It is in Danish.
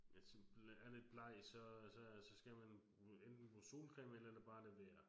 Ja sådan er lidt bleg så så så skal man enten bruge solcreme eller bare lade være